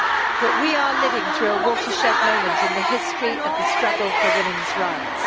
But we are living through a watershed moment in the history in the struggle for women's rights.